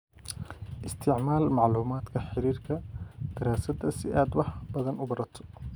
Isticmaal macluumaadka xiriirka daraasadda si aad wax badan u barato.